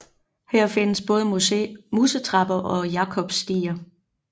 Her findes både musetrapper og jakobsstiger